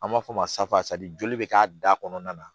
An b'a fɔ o ma joli bɛ k'a da kɔnɔna na